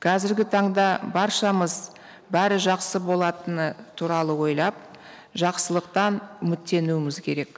қазіргі таңда баршамыз бәрі жақсы болатыныны туралы ойлап жақсылықтан үміттенуіміз керек